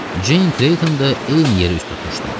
Ceyn Kleyton da eyni yerə üz tutmuşdu.